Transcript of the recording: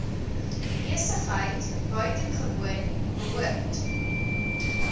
besigheid buitengewoon behoort